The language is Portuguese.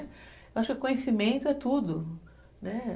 Eu acho que conhecimento é tudo, né.